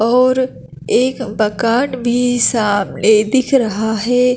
और एक बकाट भी सामने दिख रहा है।